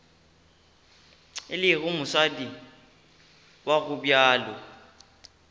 e lego mosadi wa gobjalo